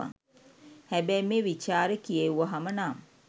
හැබැයි මේ විචාරෙ කියෙව්වහම නම්